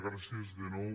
gràcies de nou